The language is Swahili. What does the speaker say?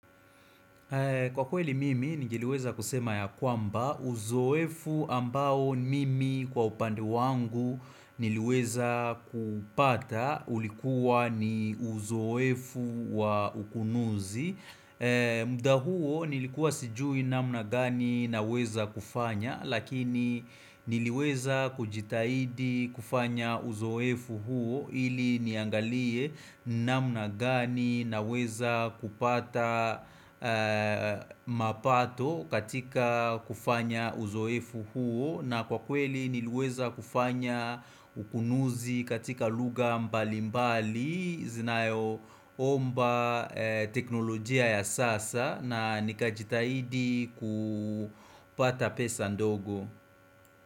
Kwa kweli mimi, niliweza kusema ya kwamba, uzoefu ambao mimi kwa upande wangu niliweza kupata ulikuwa ni uzoefu wa ukunuzi. Muda huo nilikuwa sijui namna gani naweza kufanya lakini niliweza kujitahidi kufanya uzoefu huo ili niangalie namna gani naweza kupata mapato katika kufanya uzoefu huo na kwa kweli niliweza kufanya ukunuzi katika lugha mbali mbali zinayoomba teknolojia ya sasa na nikajitahidi kupata pesa ndogo.